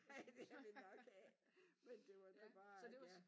Nej det har de nok af men det var da bare ja